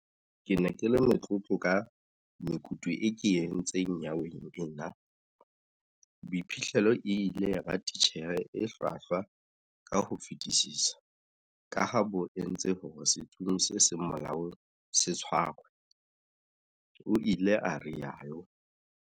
Ke ne ke le motlotlo ka mekutu eo ke e entseng nyeweng ena, boiphihlelo e ile ya ba titjhere e hlwahlwa ka ho fetisisa kaha bo entse hore setsomi se seng molaong se tshwarwe, o ile a rialo.